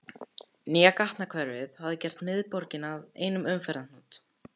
Nýja gatnakerfið hafði gert miðborgina að einum umferðarhnút.